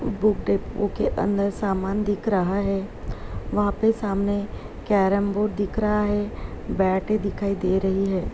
Book depot के अंदर सामान दिख रहा है | वहाँ पे सामने कैरमबोर्ड दिख रहा है। बैटें‌ दिखाई दे रही हैं ।